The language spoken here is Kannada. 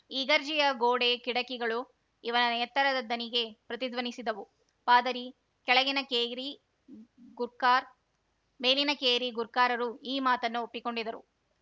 ಇಗರ್ಜಿಯ ಗೋಡೆ ಕಿಟಕಿಗಳು ಇವನ ಎತ್ತರದ ದನಿಗೆ ಪ್ರತಿಧ್ವನಿಸಿದವು ಪಾದರಿ ಕೆಳಗಿನ ಕೇರಿ ಗುರ್ಕಾರ್ ಮೇಲಿನ ಕೇರಿ ಗುರ್ಕಾರರು ಈ ಮಾತನ್ನ ಒಪ್ಪಿಕೊಂಡರು